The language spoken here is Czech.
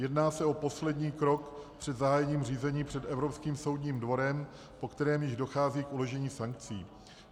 Jedná se o poslední krok před zahájením řízení před Evropským soudním dvorem, po kterém již dochází k uložení sankcí.